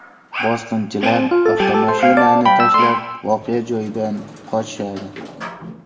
Bosqinchilar avtomashinani tashlab voqea joyidan qochishadi.